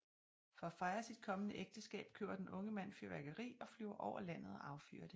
For at fejre sit kommende ægteskab køber den unge mand fyrværkeri og flyver over landet og affyrer det